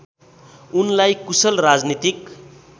उनलाई कुशल राजनीतिक